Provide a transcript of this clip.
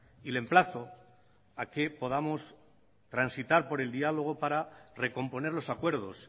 y le emplazo a que podamos transitar por el diálogo para recomponer los acuerdos